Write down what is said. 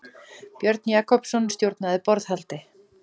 Björn Jakobsson stjórnaði borðhaldi.